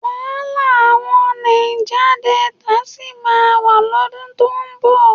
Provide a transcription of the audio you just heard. Wàhálà àwọn Náíjá Delta sì máa wà lọ́dún tó ń bọ̀.